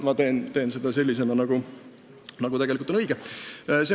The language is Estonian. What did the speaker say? Ma teen nii, nagu tegelikult on õige.